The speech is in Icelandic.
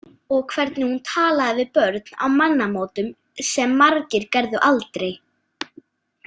Og hvernig hún talaði við börn á mannamótum sem margir gerðu aldrei.